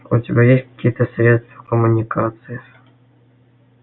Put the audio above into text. у тебя есть какие-то средства коммуникации